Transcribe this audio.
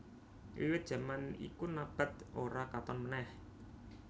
Wiwit jaman iku Nabath ora katon meneh